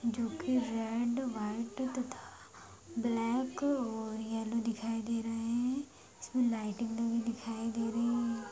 जो कि red white तथा ब्लैक और येलो दिखाई दे रहा है इसमें लाइटिंग भी देखी दे रही है।